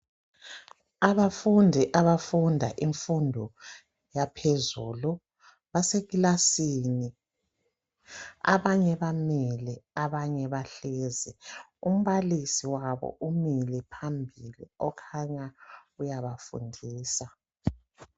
abafundi abafunda infundo yaphezulu base kilasini abanye bamile abanye bahlezi umbalisi wabo umile phambili okhanya uyabafundisa